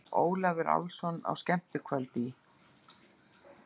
Ólafur Álfsson á skemmtikvöldi í